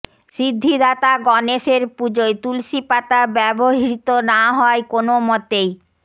সিদ্ধিদাতা গণেশের পুজোয় তুলসিপাতা ব্যবহৃত না হয় কোনও মতেই